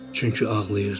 Çünki ağlayırdı.